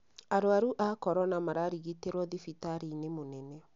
Arwaru a korona mararigitĩrwo thibitarĩ-inĩ mũnene